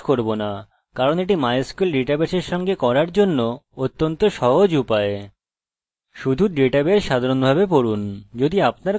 শুধু ডাটাবেস সাধারণভাবে পড়ুন যদি আপনার কাছে microsoft access বা অন্য কোনো ডাটাবেস প্রোগ্রাম আছে